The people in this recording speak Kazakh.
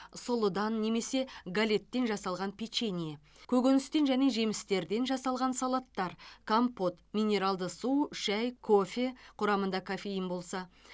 сұлыдан немесе галеттен жасалған печенье көкөністен және жемістерден жасалған салаттар компот минералды су шәй кофе құрамында кофеин болса